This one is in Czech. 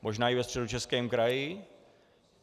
Možná i ve Středočeském kraji.